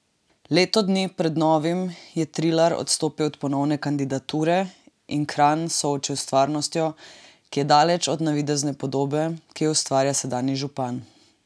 Leto dni pred novimi je Trilar odstopil od ponovne kandidature in Kranj soočil s stvarnostjo, ki je daleč od navidezne podobe, ki jo ustvarja sedanji župan.